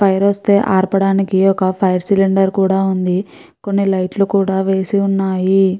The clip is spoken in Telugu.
ఫైర్ వస్తే ఆర్పడానికి ఒక ఫైర్ సిలిండర్ కూడా ఉంది. కొన్ని లైట్లు కూడా వేసి ఉన్నాయి.